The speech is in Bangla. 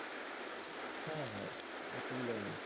হ্যাঁ হ্যাঁ অসুবিধা নেই।